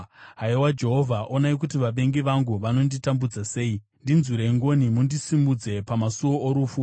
Haiwa Jehovha, onai kuti vavengi vangu vanonditambudza sei! Ndinzwirei ngoni mundisimudze pamasuo orufu,